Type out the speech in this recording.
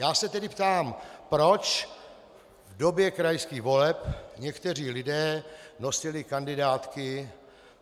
Já se tedy ptám, proč v době krajských voleb někteří lidé nosili kandidátky.